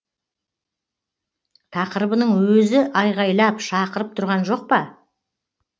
тақырыбының өзі айғайлап шақырып тұрған жоқ па